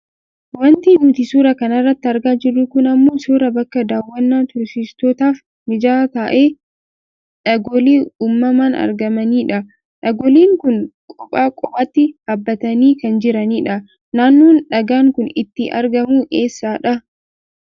Wanti nuti suuraa kana irratti argaa jirru kun ammoo suuraa bakka daawwannaa turistootaaf mijataa ta'a dhagoolee uummaman argamani dha. Dhagooleen kun qopha qophaati dhaabbatanii kan jiranidha. Naannoon dhagaan kun itti argamu eessadha?